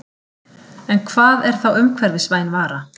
En hvað er þá umhverfisvæn vara?